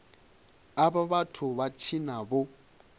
avha vhathu vha tshina vho